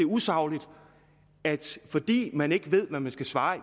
er usagligt at fordi man ikke ved hvad man skal svare